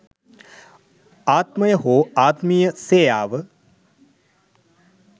ආත්මය හෝ ආත්මීය සේයාව,